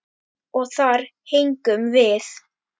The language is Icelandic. Og þar héngum við.